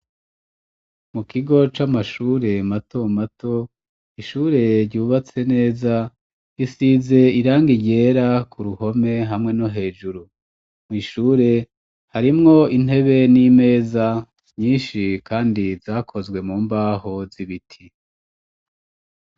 Mu kigo c'amashure mato mato ishure ryubatse neza isize irangi ryera ku ruhome hamwe no hejuru mu ishure harimwo intebe n'imeza nyinshi kandi zakozwe mu mbaho z'ibiti.